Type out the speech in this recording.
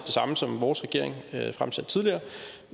samme som vores regering fremsatte tidligere